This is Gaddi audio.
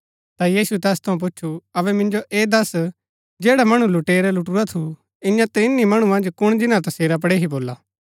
ता यीशुऐ तैस थऊँ पूच्छु अबै मिन्जो ऐह दस्स जैडा मणु लुटेरै लुटूरा थू इआं त्रिहणी मणु मन्ज कुण जिन्‍ना तसेरा पड़ेही भोला